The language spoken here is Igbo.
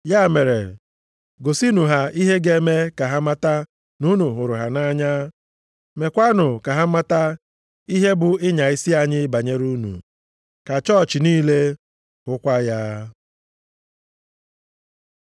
Ya mere, gosinụ ha ihe ga-eme ka ha mata na unu hụrụ ha nʼanya. Meekwanụ ka ha mata ihe bụ ịnya isi anyị banyere unu, ka chọọchị niile hụkwa ya.